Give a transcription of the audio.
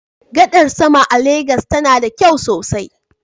Gadar sama a Legas tana da kyau sosai.